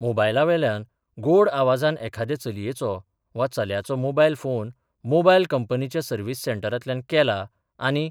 मोबायलावेल्यान गोड आवाजान एखादे चलयेचो वा चल्याचो मोबायल फोन मोबायल कंपनीच्या सर्व्हिस सेंटरांतल्यान केला आनी